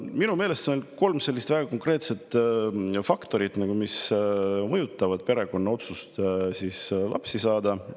Minu meelest on kolm sellist väga konkreetset faktorit, mis mõjutavad perekonna otsust lapsi saada.